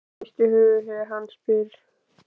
Hún hristir höfuðið þegar hann spyr.